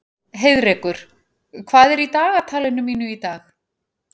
Heiðrekur, hvað er í dagatalinu mínu í dag?